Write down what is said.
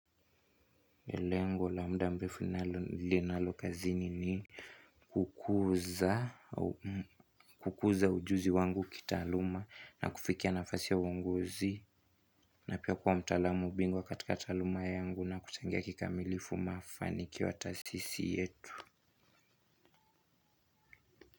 Lengo la mda mrefu linalo linalo kazini ni kukuuz kukuza ujuzi wangu kitaaluma na kufikia nafasi ya uongozi na pia kuwa mtalamu bingwa katika taaluma yangu na kutegea kikamilifu mafanikio ata sisi yetu.